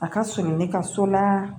A ka surun ne ka so la